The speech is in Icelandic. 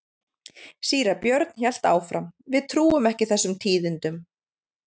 Síra Björn hélt áfram:-Við trúum ekki þessum tíðindum.